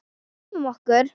Drífum okkur.